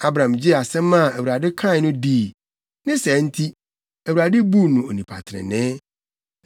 Abram gyee asɛm a Awurade kae no dii. Ne saa nti, Awurade buu no onipa trenee.